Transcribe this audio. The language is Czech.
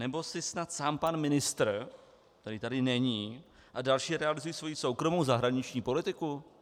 Nebo si snad sám pan ministr, který tady není, a další realizují svoji soukromou zahraniční politiku?